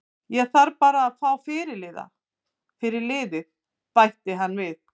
Ég þarf bara að fá fyrirliða fyrir liðið, bætti hann við.